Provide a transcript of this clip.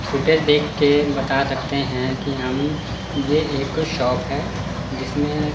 footage देख के बता सकते है कि हम ये एक शॉप है जिसमें--